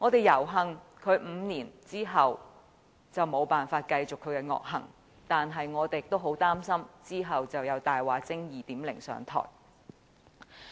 猶幸他經過這5年後無法再繼續他的惡行，但我們也很擔心之後有"大話精 2.0" 上台。